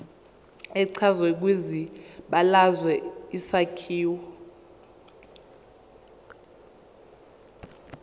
echazwe kwibalazwe isakhiwo